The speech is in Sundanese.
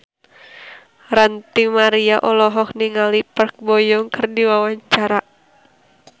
Ranty Maria olohok ningali Park Bo Yung keur diwawancara